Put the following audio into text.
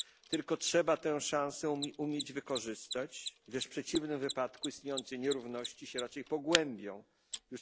Tylko trzeba tę szansę umieć wykorzystać, gdyż w przeciwnym wypadku istniejące nierówności raczej pogłębią się.